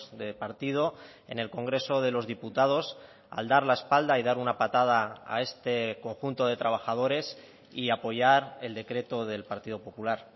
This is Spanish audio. de partido en el congreso de los diputados al dar la espalda y dar una patada a este conjunto de trabajadores y apoyar el decreto del partido popular